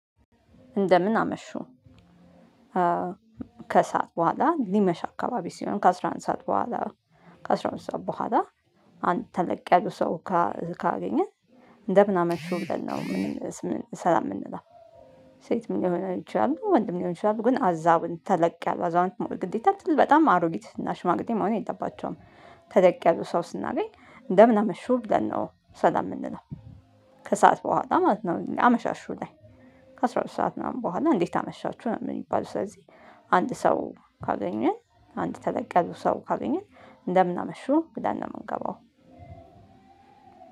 እንደምን አመሹ ከሰአት በኋላ ሊመሽ አካባቢ ሲሆን ከአስራ አንድ ሰዓት በኋላ ከስራውን ሰው በኋላ አንተ ለቅ ያዙ ሰው ካገኘህ እንደ ምን አመሹ ብለን ነው። ሰላም የምንለው። ሴት ምን ሊሆን ይችላል ወንድም ሊሆን ይችላል ግን አዛውን ተለቅ ያሉ አዛውንት ግዴታ በጣም አሮጊት እና ሽማግሌ መሆን የለባቸውም። ተለቅ ያሉ ሰው ስናገኝ እንደምን አመሽው ብለን ነው ሰላም የምንለው። ከሰአት በኋላ ማለት ነው። አመሻሹ ላይ ከአሥራ ሁለት ሰዓት ምናምን በኋላ እንዴት አመሻችሁ ነው? የምንባለው ስለዚህ አንድ ሰው ካገኘን አንድ ተለቅ ያሉ ሰው ካገኘን እንደምን አመሹ ብለን ነው የምንገባው።